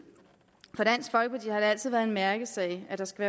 altid været en mærkesag at der skal